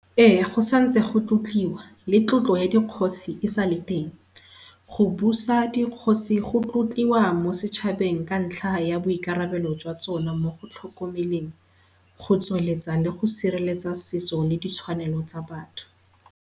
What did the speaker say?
Ee go santse go tlotliwa, le tlotlo ya dikgosi e sale teng. Go busa dikgosi go tlotliwa mo setshabeng, ka ntlha ya boikarabelo jwa tsone mo go tlhokomeleng, go tsweletsa le go sireletsa setso le ditshwanelo tsa batho.